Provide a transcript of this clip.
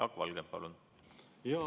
Jaak Valge, palun!